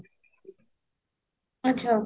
ଆଚ୍ଛା